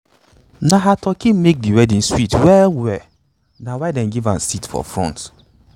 na her turkey make the wedding sweet well well na why them give am seat for front.